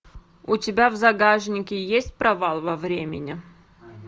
у тебя в загашнике есть провал во времени